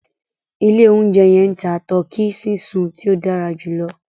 Ilẹ̀ ọ̀unjẹ yẹn ń tà Tọkí sísun tí o dàrá júlọ̀